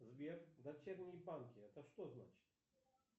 сбер дочерние банки это что значит